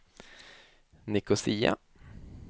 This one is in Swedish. Nicosia